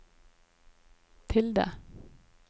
tilde